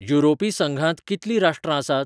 युरोपी संघांत कितलीं राष्ट्रां आसात?